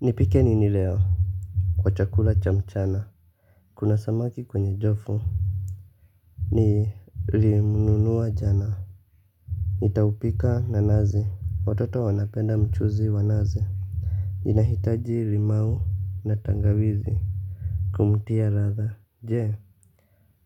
Nipike nini leo. Kwa chakula cha mchana kuna samaki kwenye jofu. Nilimnunua jana. Nitaupika na nazi. Watoto wanapenda mchuzi wa nazi. Inahitaji limau na tangawizi kumtia ladha. Je